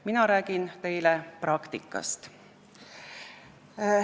Mina räägin teile praktikast.